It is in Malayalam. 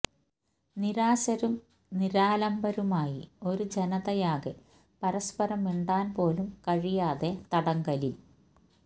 നിരാശരും നിരാലംബരുമായി ഒരു ജനതയാകെ പരസ്പരം മിണ്ടാന് പോലും കഴിയാതെ തടങ്കലില്